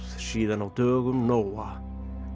síðan á dögum Nóa